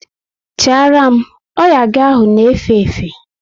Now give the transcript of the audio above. Chara m! Oya gị ahụ na efe efe!